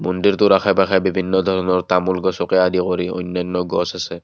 মন্দিৰটোৰ আশে পাশে বিভিন্ন ধৰণৰ তামোল গছকে আদি কৰি অন্যান্য গছ আছে।